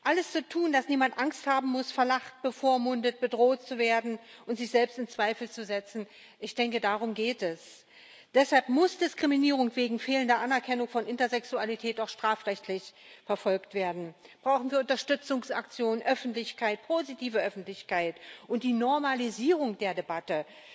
Alles zu tun, damit niemand Angst haben muss, verlacht, bevormundet, bedroht zu werden und sich selbst in Zweifel zu setzen ich denke, darum geht es deshalb muss Diskriminierung wegen fehlender Anerkennung von Intersexualität auch strafrechtlich verfolgt werden, brauchen wir Unterstützungsaktionen, Öffentlichkeit, positive Öffentlichkeit und die Normalisierung der Debatte